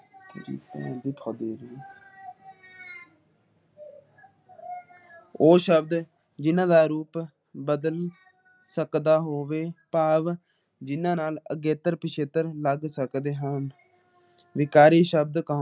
ਉਹ ਸ਼ਬਦ ਜਿਨਹ੍ਹ ਦਾ ਰੂਪ ਬਦਲ ਸਕਦਾ ਹੋਵੇ । ਜਿਹਨਾਂ ਨਾਲ ਅਗੇਤਰ ਪਸੇਟਰ ਲੱਗ ਸਕਦੇ ਹੋਣ ਵਿਕਰੀ ਸ਼ਬਦ ਕਹੋਂਦੇ